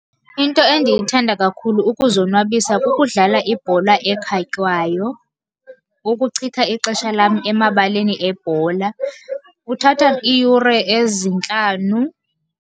Into endiyithanda kakhulu ukuzonwabisa kukudlala ibhola ekhatywayo. Ukuchitha ixesha lam emabaleni ebhola kuthatha iiyure ezintlanu.